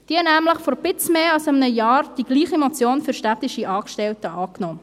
Diese nahm nämlich vor wenig mehr als einem Jahr die gleiche Motion für städtische Angestellte an.